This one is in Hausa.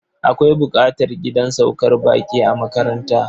Akwai buƙatar gidan saukar baƙi a makaranta.